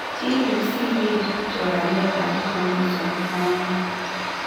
Chil yu siger choranetab chromosome 1